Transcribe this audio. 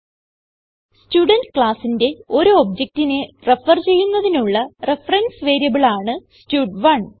student ക്ലാസ്സിന്റെ ഒരു objectനെ റെഫർ ചെയ്യുന്നതിനുള്ള റഫറൻസ് വേരിയബിൾ ആണ് സ്റ്റഡ്1